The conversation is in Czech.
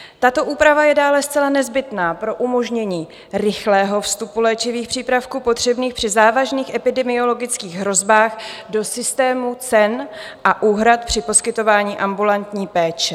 Tato úprava je dále zcela nezbytná pro umožnění rychlého vstupu léčivých přípravků potřebných při závažných epidemiologických hrozbách do systému cen a úhrad při poskytování ambulantní péče.